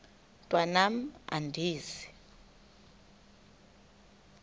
mntwan am andizi